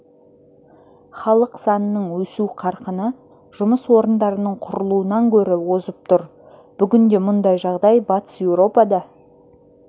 халық санының өсу қарқыны жұмыс орындарының құрылуынан гөрі озып тұр бүгінде мұндай жағдай батыс еуропада